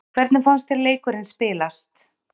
Hvernig fannst þér leikurinn spilast?